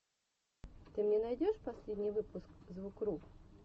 ты мне найдешь последний выпуск звукру